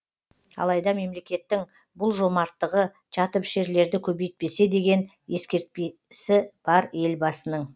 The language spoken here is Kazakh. алайда мемлекеттің бұл жомарттығы жатыпішерлерді көбейтпесе деген ескертпесі бар елбасының